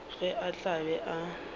ge a tla be a